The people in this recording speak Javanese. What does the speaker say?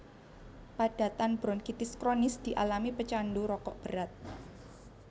Padatan bronkitis kronis dialami pecandu rokok berat